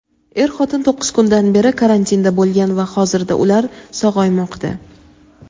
er-xotin to‘qqiz kundan beri karantinda bo‘lgan va hozirda ular sog‘aymoqda.